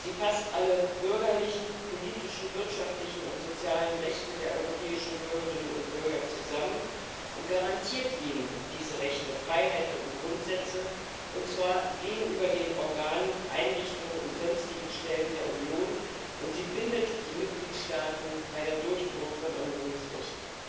Sie fasst alle bürgerlichen, politischen, wirtschaftlichen und sozialen Rechte der europäischen Bürgerinnen und Bürger zusammen und garantiert ihnen diese Rechte, Freiheiten und Grundsätze, und zwar gegenüber den Organen, Einrichtungen und sonstigen Stellen der Union, und sie bindet die Mitgliedstaaten bei der Durchführung von Unionsrecht.